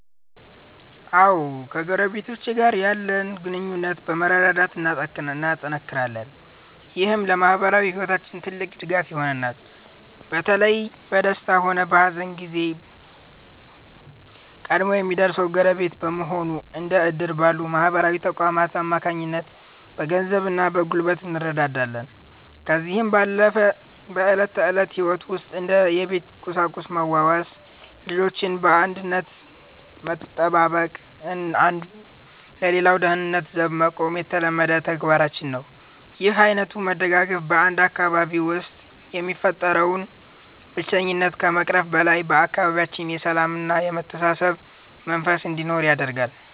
አዎ ከጎረቤቶቼ ጋር ያለን ግንኙነት በመረዳዳት እናጠናክራለን። ይህም ለማኅበራዊ ሕይወታችን ትልቅ ድጋፍ ይሆነናል። በተለይ በደስታም ሆነ በሐዘን ጊዜ ቀድሞ የሚደርሰው ጎረቤት በመሆኑ፤ እንደ ዕድር ባሉ ማኅበራዊ ተቋማት አማካኝነት በገንዘብና በጉልበት እንረዳዳለን። ከዚህም ባለፈ በዕለት ተዕለት ሕይወት ውስጥ እንደ የቤት ቁሳቁስ መዋዋስ፤ ልጆችን በአንድነት መጠባበቅና አንዱ ለሌላው ደህንነት ዘብ መቆም የተለመደ ተግባራችን ነው። ይህ ዓይነቱ መደጋገፍ በ 1 አካባቢ ውስጥ የሚፈጠረውን ብቸኝነት ከመቅረፉም በላይ፤ በአካባቢያችን የሰላምና የመተሳሰብ መንፈስ እንዲኖር ያደርጋል።